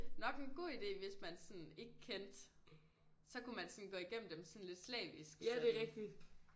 Nok en god ide hvis man sådan ikke kendte så kunne man sådan gå igennem dem sådan lidt slavisk sådan